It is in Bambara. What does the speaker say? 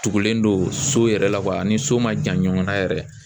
Tugulen don so yɛrɛ la ani so ma jan ɲɔgɔnna yɛrɛ.